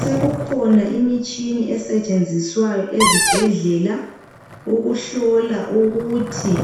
Sekukhona imitshini esetshenziswayo ezibhedlela, ukuhlola ukuthi